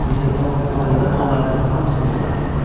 Mister Foq xırda pullarının hamısını ona verdi.